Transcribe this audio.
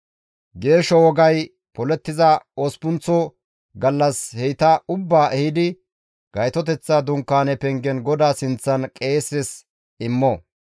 «Geesho wogay polettiza osppunththa gallas heyta ubbaa ehidi Gaytoteththa Dunkaane pengen GODAA sinththan qeeses immo.